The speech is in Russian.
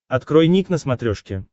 открой ник на смотрешке